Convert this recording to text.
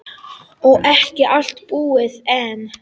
Og ekki allt búið enn.